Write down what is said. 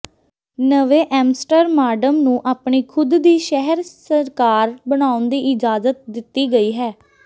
ਨਵੇਂ ਐਮਸਟਰਮਾਡਮ ਨੂੰ ਆਪਣੀ ਖੁਦ ਦੀ ਸ਼ਹਿਰ ਸਰਕਾਰ ਬਣਾਉਣ ਦੀ ਇਜਾਜ਼ਤ ਦਿੱਤੀ ਗਈ ਹੈ